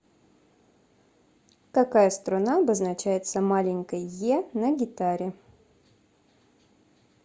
какая струна обозначается маленькой е на гитаре